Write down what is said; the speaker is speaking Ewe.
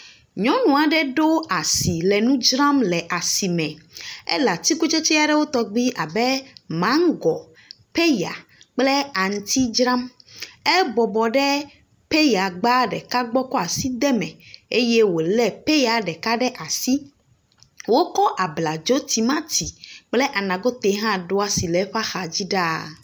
Nyɔnu aɖe ɖo asi le nu dzram le asime. Ele atsikutsetse aɖewo tɔgbi abe maŋgo, peya kple aŋuti dzram. Ebɔbɔ ɖe peya gba ɖeka gbɔ kɔ asi de eme eye wolé peya ɖeka ɖe asi. Wokɔ abladzo, timati kple anagote ɖo asi ɖe eƒe axadzi ɖaa.